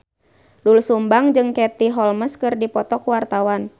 Doel Sumbang jeung Katie Holmes keur dipoto ku wartawan